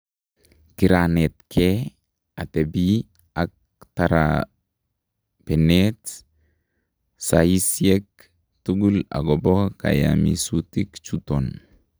Kiranetkee atebii ak tarabeneet sayisyeek tukul akobo kayamisutik chuton